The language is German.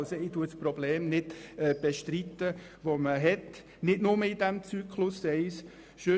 Ich bestreite dieses Problem nicht, das ja nicht nur im Zyklus 1 besteht.